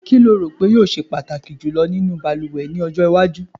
Kí o lérò pé yóò se pàtàkì jùlọ nínú balùwẹ̀ ní ọjọ́ iwájú?